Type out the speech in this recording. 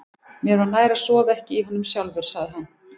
Mér var nær að sofa ekki í honum sjálfur, sagði hann.